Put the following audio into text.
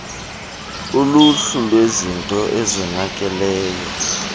uluhlu lwezinto ezonakeleyo